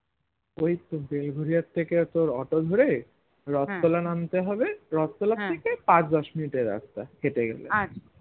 ওইতো বেলগোরিয়ার থেকে auto ধরে রোততলা নামতে হবো রোততলা থেকে পাঁচ দশ মিনিট এর রাস্তা হেটে গেলে